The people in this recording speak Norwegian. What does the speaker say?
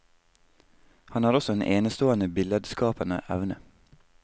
Han har også en enestående billedskapende evne.